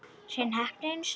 Hrein heppni einu sinni enn.